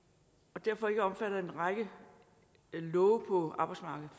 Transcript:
og derfor ikke er omfattet af en række love på arbejdsmarkedet